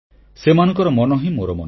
ସେମାନଙ୍କର ମନ ହିଁ ମୋର ମନ